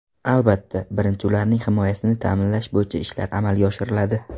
Albatta, birinchi ularning himoyasini ta’minlash bo‘yicha ishlar amalga oshiriladi.